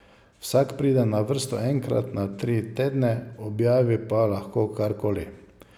Vsak pride na vrsto enkrat na tri tedne, objavi pa lahko kar koli.